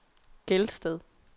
Gelsted